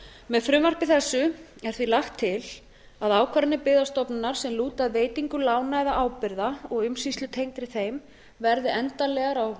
með frumvarpi þessu er því lagt til að ákvarðanir byggðastofnunar sem lúta að veitingu lána eða ábyrgða og umsýslutengdri þeim verði endanlegar á